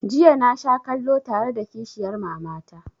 Jiya na sha kallo tare da kishiyar mama ta